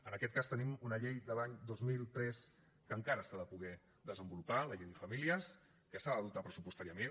en aquest cas tenim una llei de l’any dos mil tres que encara s’ha de poder desenvolupar la llei de famílies que s’ha de dotar pressupostàriament